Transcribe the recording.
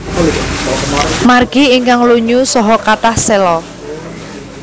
Margi ingkang lunyu saha kathah séla